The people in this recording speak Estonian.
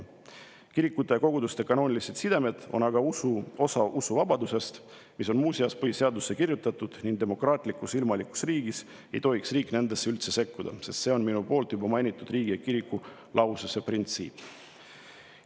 Kirikute ja koguduste kanoonilised sidemed on aga osa usuvabadusest, mis on muuseas põhiseadusesse kirjutatud, ning demokraatlikus ilmalikus riigis ei tohiks riik nendesse üldse sekkuda, see on minu poolt juba mainitud riigi ja kiriku lahususe printsiip.